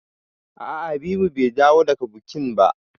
A'a Habibu bai dawo daga bukin ba.